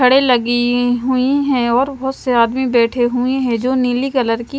खड़े लगी हुई है और बेठे हुए है जो नीली कलर की--